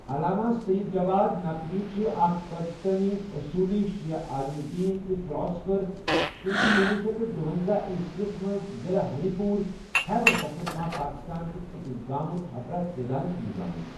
علامہ سید جواد نقوی چھےٚ اَکھ پاکستانی اصولی شیعہ عالمہ دین تہ فلاسفر تم چھ کنۄہ شیتھ تہٕ دُۄنزاہ عیسویس مَنٛز ضِلہٕ ہری پور، خیبر پختونخوا، پاکستانکس ایکس گامس ٹھپرہ سیدانٛنس مَنٛز زامتۍ۔